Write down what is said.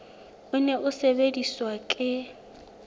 o ne o sebediswa ke